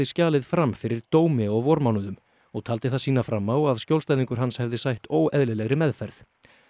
skjalið fram fyrir dómi á vormánuðum og taldi það sýna fram á að skjólstæðingur hans hefði sætt óeðlilegri meðferð